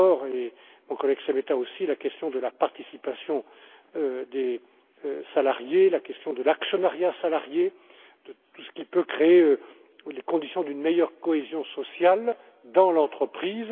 avec M. Andor et mon collègue Šemeta aussi la question de la participation des salariés, la question de l'actionnariat salarié et de tout ce qui peut créer les conditions d'une meilleure cohésion sociale dans l'entreprise.